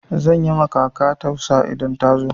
Zan yi ma kaka tausa idan ta zo.